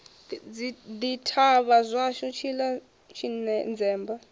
ḓi thavha zwashu tshiḽa tshinzemba